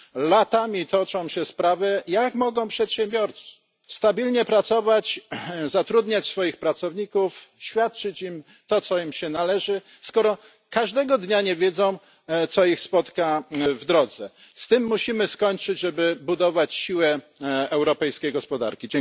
Latami toczą się takie sprawy. Jak mogą przedsiębiorcy stabilnie pracować, zatrudniać swoich pracowników, świadczyć im to, co im się należy, skoro każdego dnia nie wiedzą, co ich spotka w drodze? Z tym musimy skończyć, żeby budować siłę europejskiej gospodarki.